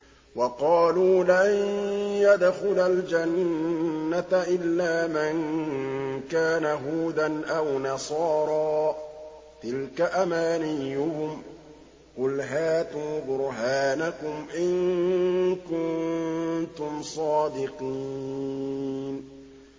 وَقَالُوا لَن يَدْخُلَ الْجَنَّةَ إِلَّا مَن كَانَ هُودًا أَوْ نَصَارَىٰ ۗ تِلْكَ أَمَانِيُّهُمْ ۗ قُلْ هَاتُوا بُرْهَانَكُمْ إِن كُنتُمْ صَادِقِينَ